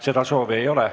Seda soovi ei ole.